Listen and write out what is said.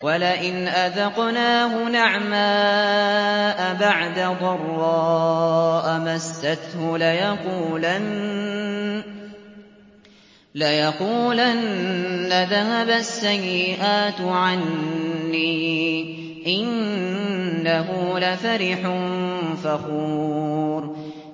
وَلَئِنْ أَذَقْنَاهُ نَعْمَاءَ بَعْدَ ضَرَّاءَ مَسَّتْهُ لَيَقُولَنَّ ذَهَبَ السَّيِّئَاتُ عَنِّي ۚ إِنَّهُ لَفَرِحٌ فَخُورٌ